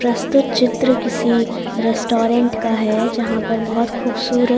प्रस्तुत चित्र किसी रेस्टोरेंट का है जहां पर बहोत खूबसूरत--